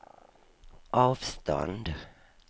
avstånd